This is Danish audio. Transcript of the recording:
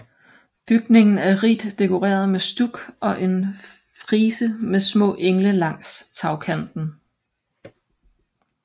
Bygningen er rigt dekoreret med stuk og en frise med små engle langs med tagkanten